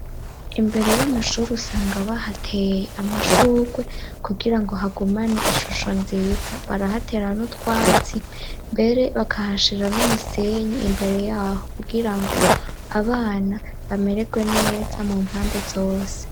Imbere y'amashuri usanga bahateye amashurwe kugira ngo hagumane ishusho nziza barahatera n'utwatsi mbere bakahashira n'umusenyi imbere y'aho kugira ngo abana bamererwe neza mu mpande zose.